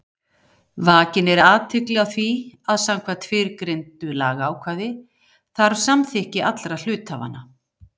Vakin er athygli á því að samkvæmt fyrrgreindu lagaákvæði þarf samþykki allra hluthafanna.